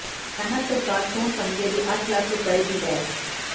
ਹਰਿਆਣਾ ਸਰਕਾਰ ਸੋਨ ਤਮਗੇ ਲਈ ਅੱਠ ਲੱਖ ਰੁਪਏ ਦੀ ਐਸ